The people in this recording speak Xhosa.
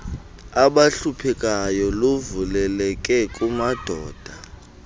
abahluphekayo luvuleleke kumadoda